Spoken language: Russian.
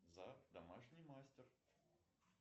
зак домашний мастер